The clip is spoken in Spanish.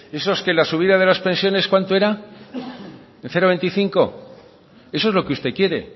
esos que la subida de las pensiones cuánto era de zero koma hogeita bost